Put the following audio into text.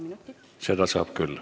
Seda saab küll.